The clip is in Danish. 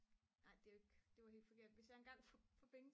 ej det er jo ikke det er helt forkert hvis jeg engang får penge